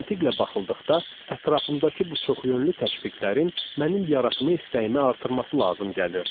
Məntiqlə baxıldıqda ətrafımdakı bu çox yönlü təşviqlərin mənim yaratma istəyimi artırması lazım gəlirdi.